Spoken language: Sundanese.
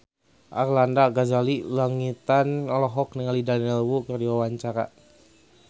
Arlanda Ghazali Langitan olohok ningali Daniel Wu keur diwawancara